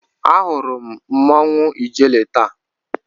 Ahụrụ m mmanwụ ijele taa.